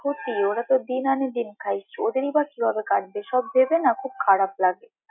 ক্ষতি ওরা তো দিন আনে দিন খায়, ওদেরই বা কি ভাবে কাটবে সব ভেবে না খুব খারাপ লাগে।